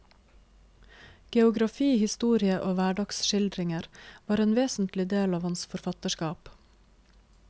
Geografi, historie og hverdagsskildringer var en vesentlig del av hans forfatterskap.